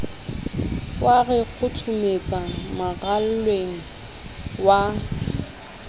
wa re kgothometsa maralleng wa